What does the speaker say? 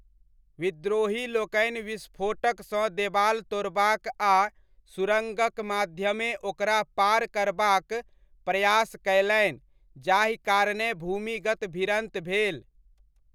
विद्रोहीलोकनि विस्फोटकसँ देबाल तोड़बाक आ सुरङ्गक माध्यमे ओकरा पार करबाक प्रयास कयलनि जाहि कारणेँ भूमिगत भिड़न्त भेल।